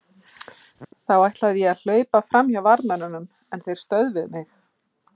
Þá ætlaði ég að hlaupa fram hjá varðmönnunum en þeir stöðvuðu mig.